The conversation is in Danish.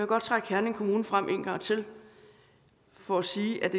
godt trække herning kommune frem en gang til for at sige at